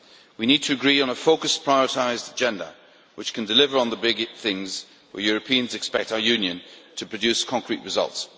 We need to agree on a focused, prioritised agenda which can deliver on the big things where Europeans expect our Union to produce concrete results.